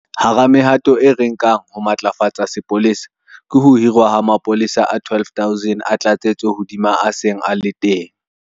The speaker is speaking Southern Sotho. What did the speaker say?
Hara mehato eo re e nkang ho matlafatsa sepolesa ke ho hirwa ha mapolesa a 12 000 a tlatsetso hodima a seng a le teng.